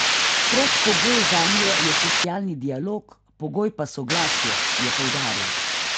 Predpogoj zanje je socialni dialog, pogoj pa soglasje, je poudaril.